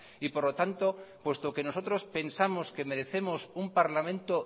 y por lo tanto puesto que nosotros pensamos que merecemos un parlamento